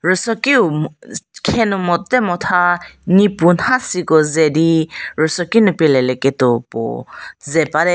rüso kiu mh kh khenu mo te motha nipu nhasi ko ze di rüso kinu pie le lie keto puo ze bate.